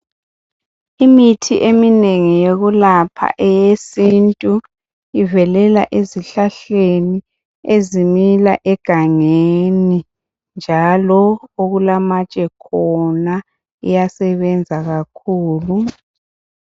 Imithi eminengi yokulapha eyesintu ivelela ezihlahla ezimila egangeni njalo okulamatshe khona iyasebenza kakhulu.